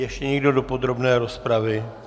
Ještě někdo do podrobné rozpravy?